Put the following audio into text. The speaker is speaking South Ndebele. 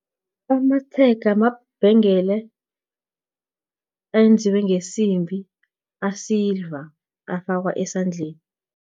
Amatshega, mabhengele ayenziwe ngesimbi, asidlwa afakwa esandleni.